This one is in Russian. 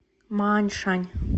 мааньшань